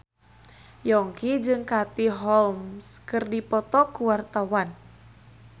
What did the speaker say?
Yongki jeung Katie Holmes keur dipoto ku wartawan